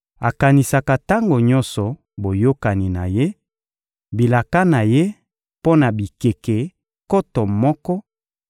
Akanisaka tango nyonso Boyokani na Ye, bilaka na Ye mpo na bikeke nkoto moko,